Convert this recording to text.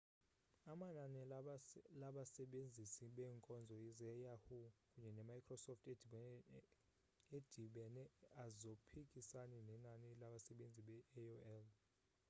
amanani labasebenzisi beenkonzo ze-yahoo kunye ne-microsoft edibene azophikisana nenani labsebenzisi be-aol